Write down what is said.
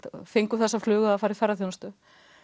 fengum þessa flugu að fara í ferðaþjónustu